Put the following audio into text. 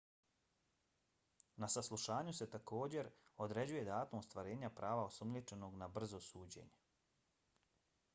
na saslušanju se također određuje datum ostvarenja prava osumnjičenog na brzo suđenje